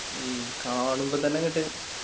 ഉം കാണുമ്പോ തന്നെ അങ്ങട്ട്